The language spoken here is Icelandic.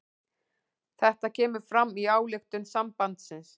Þetta kemur fram í ályktun sambandsins